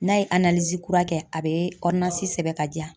N'a ye kura kɛ a bɛ sɛbɛn ka diya.